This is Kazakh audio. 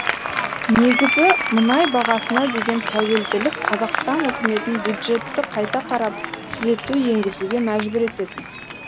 негізі мұнай бағасына деген тәуелділік қазақстан үкіметін бюджетті қайта қарап түзету енгізуге мәжбүр ететін